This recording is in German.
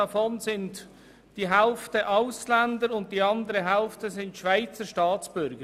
Davon betrifft die Hälfte Ausländer, und die andere Hälfte sind Schweizer Staatsbürger.